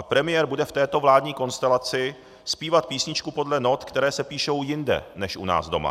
A premiér bude v této vládní konstelaci zpívat písničku podle not, které se píšou jinde než u nás doma.